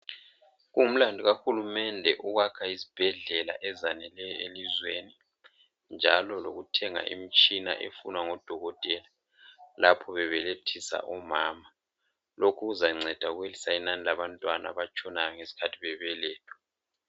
Kungumlandu kahulumende ukwakha izibhedlela ezaneleyo elizweni njalo lokuthenga imtshina efunwa ngodokotela lapho bebelethisa omama lokhu kuzanceda ukwehlisa inani labantwana abatshonayo ngeskhathi bebelethwa.